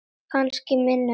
Kannski minna en þú.